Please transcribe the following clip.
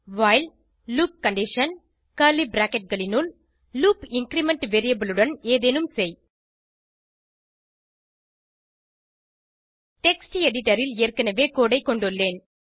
while loop condition loop increment variable உடன் ஏதேனும் செய் டெக்ஸ்ட் எடிட்டர் ல் ஏற்கனவே கோடு ஐ கொண்டுள்ளேன்